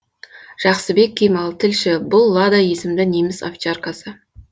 жақсыбек кемал тілші бұл лада есімді неміс овчаркасы